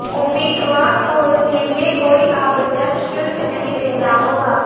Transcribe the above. उम्मीदवार को इसके लिए कोई आवेदन शुल्क नहीं देना होगा